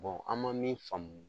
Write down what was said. an man min faamu